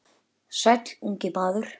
Sæll, ungi maður